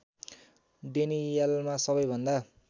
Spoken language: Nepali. डेनियलमा सबै भन्दा